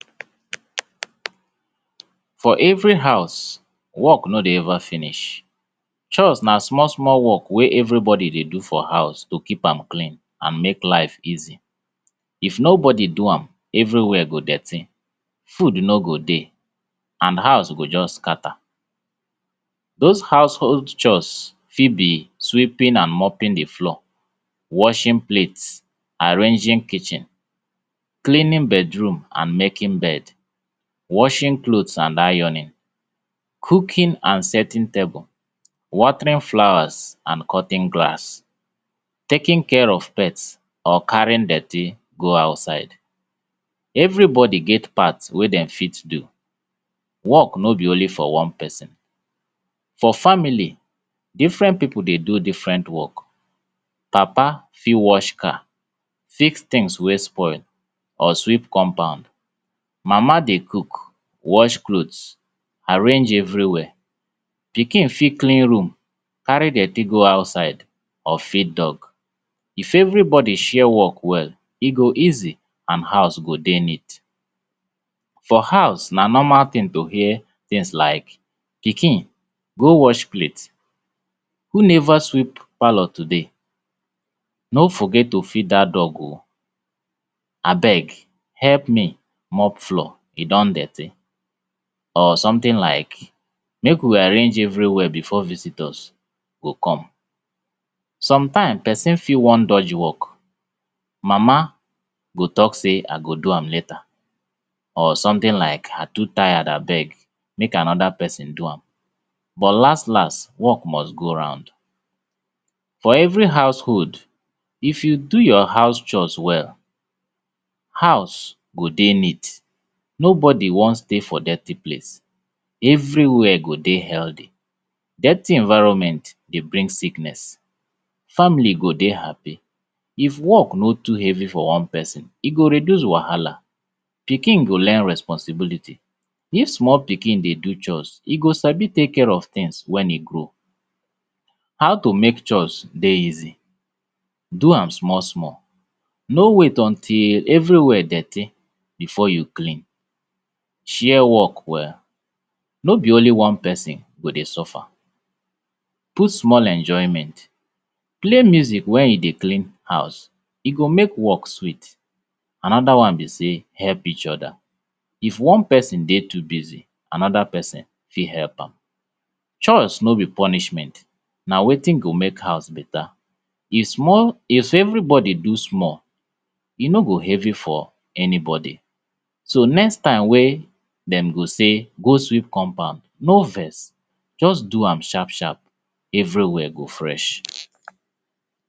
for every huz, work no dey ever finish, chores na small small work wey everybody dey do for huz to keep am clean and make life easy. If nobody do am, everywhere go dirty, food no go dey and huz go just scatter. Those huzhold chores fit be sweeping and mopping de floor, washing plates, arranging kitchen, cleaning bedroom and making bed, washing clothes and ironing, cooking and setting tables, watering flowers and cutting grass, taking care of pets or carrying dirty go outside, everybody get part wey dem fit do, work no be only for one person. For family, different people dey do different work, Papa fit wash car, fix things wey spoil or sweep compound, Mama dey cook, wash clothes, arrange everywhere, pikin fit clean room, carry dirty go outside or feed dog. If everybody share work well, e go easy and huz go dey neat. For huz, na normal thing to hear things like, ‘’pikin, go wash plate, who neva sweep palour today? No forget to feed dat dog oo, abeg help me mop floor, e don dirty or something like, make we arrange everywhere before visitors go come”. Sometimes, person fit wan dodge work, Mama go talk sey I go do am later or something like I too tire abegg, make anoda person do am, but las las, work must go round. For every huzhold, if you do your huz chores well, huz go dey neat, nobody wan stay for dirty place, everywhere go dey healthy. Dirty environment dey bring sickness, family go dey happy. If work no too heavy for one person, e go reduce wahala, pikin go learn responsibility. If small pikin dey do chores, e go sabi take care of things when e grow. How to make chores dey easy? Do am small small, no wait until everywhere dirty before you clean, share work well, no be only one person go dey suffer, put small enjoyment, play music when you dey clean huz, e go make work sweet. Anoda one be sey, help each other. If one person dey too busy, anoda person fit help am. Chores no be punishment, na wetin go make huz beta. If small, if everybody do small, e no go heavy for anybody so next tym wey dem go sey, go sweep compound, no vex, just do am sharp sharp, everywhere go fresh.